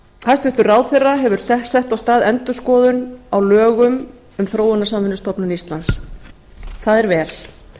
hæstvirtur ráðherra hefur sett af stað endurskoðun á lögum um þróunarsamvinnustofnun íslands það er vel